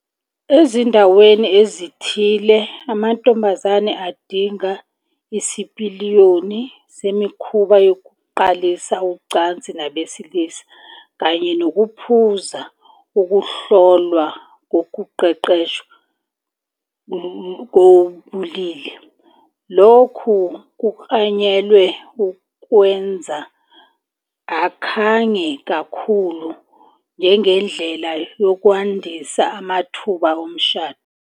Ezindaweni ezithile, amantombazane adinga isipiliyoni semikhuba yokuqalisa ucansi nabesilisa kanye nokuphasa ukuhlolwa kokuqeqeshwa kobulili, lokhu kuklanyelwe ukuwenza akhange kakhulu njengendlela yokwandisa amathuba omshado.